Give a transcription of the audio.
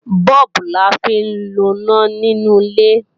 Bọ́ọ̀bù la fi ń loná nínú ilé